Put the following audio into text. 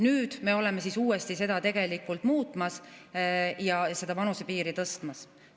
Nüüd me oleme uuesti seda muutmas ja seda vanusepiiri tõstmas.